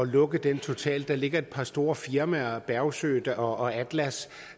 lukke den totalt der ligger et par store firmaer der bergsøe og atlas